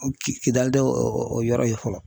Ki Kidali tɛ o o yɔrɔ ye fɔlɔ.